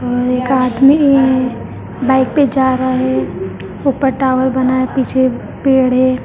और एक आदमी बाइक पे जा रहा है ऊपर टावर बना है पीछे पेड़ है।